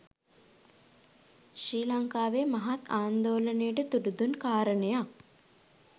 ශ්‍රී ලංකාවේ මහත් ආන්දෝලනයට තුඩු දුන් කාරණයක්.